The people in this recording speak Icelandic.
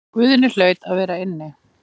Guðni hlaut að vera inni.